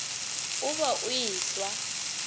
o be o e swa